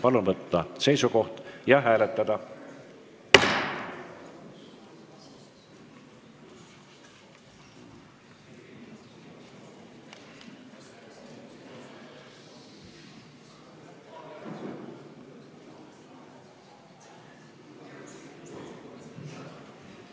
Palun võtta seisukoht ja hääletada!